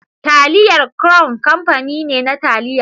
Taliyar crown kamfani ne na taliya.